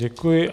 Děkuji.